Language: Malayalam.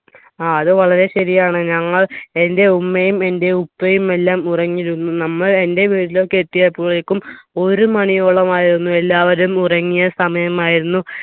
ആ അത് വളരെ ശരിയാണ് ഞങ്ങൾ എന്റെ ഉമ്മയും എന്റെ ഉപ്പയും എല്ലാം ഉറങ്ങിരുന്നു നമ്മൾ എന്റെ വീട്ടിലൊക്കെത്തിയപ്പോഴേക്കും ഒരു മണിയോളമായിരുന്നു എല്ലാവരും ഉറങ്ങിയ സമയമായിരുന്നു